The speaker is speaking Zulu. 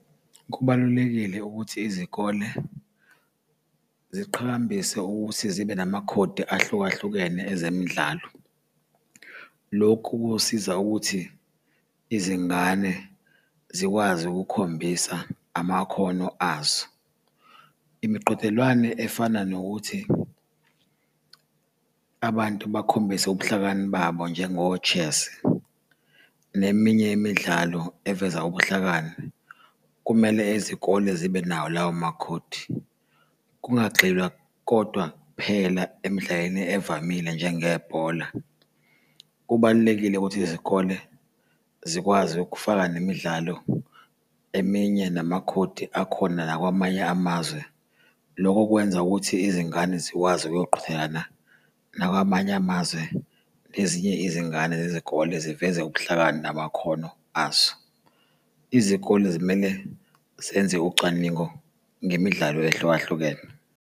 Kubalulekile ukuthi izikole ziqhakambisa ukuthi zibe namakhodi ahlukahlukene ezemidlalo. Lokhu kusiza ukuthi izingane zikwazi ukukhombisa amakhono azo. Imiqhudelwano efana nokuthi abantu bakhombise ubuhlakani babo, njengo-chess neminye yemidlalo eveza ubuhlakani kumele izikole zibe nawo lawo makhodi. Kungagxilwa kodwa kuphela emidlalweni evamile njengebhola, kubalulekile ukuthi izikole zikwazi ukufaka nemidlalo eminye namakhodi akhona nakwamanye amazwe. Loko kwenza ukuthi izingane zikwazi ukuyoqhudelana nakwamanye amazwe nezinye izingane zezikole ziveze ubuhlakani namakhono azo. Izikole zimele zenze ucwaningo ngemidlalo ehlukahlukene.